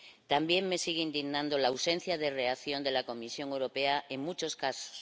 También me sigue indignando la ausencia de reacción de la Comisión Europea en muchos casos.